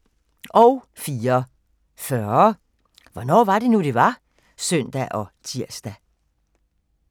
04:40: Hvornår var det nu, det var? (søn og tir)